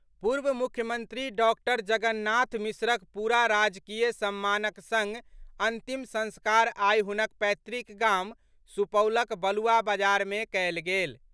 पूर्व मुख्यमंत्री डॉक्टर जगन्नाथ मिश्रक पूरा राजकीय सम्मानक संग अंतिम संस्कार आइ हुनक पैतृक गाम सुपौलक बलुआ बाजार मे कयल गेल।